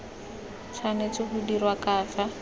tshwanetse go dirwa ka fa